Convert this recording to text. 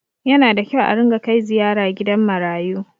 Yana da kyau a ringa kai ziyara gidan marayu.